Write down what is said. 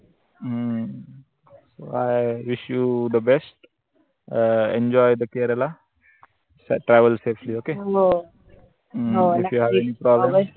हम्म Iwishyouthebest um enjoy the Kerala travelsafelyok